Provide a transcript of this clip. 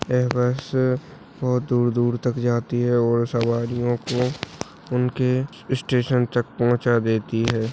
एह बस बहुत दूर दूर तक जाती है और सवारियों को उनके स्टेशन तक पहुंचा देती है।